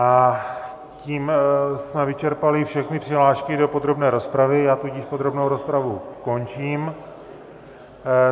A tím jsme vyčerpali všechny přihlášky do podrobné rozpravy, já tudíž podrobnou rozpravu končím.